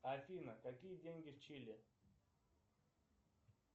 афина какие деньги в чили